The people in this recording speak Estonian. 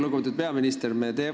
Lugupeetud peaminister!